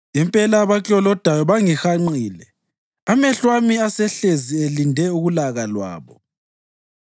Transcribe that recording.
Impela abaklolodayo bangihanqile; amehlo ami asehlezi elinde ulaka lwabo.